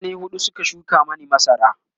mutane huɗu Suka shuka Mani masara